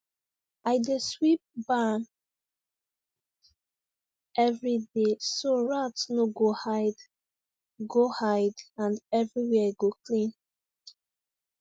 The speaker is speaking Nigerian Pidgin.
i dey sweep barn every day so rat no go hide go hide and everywhere go clean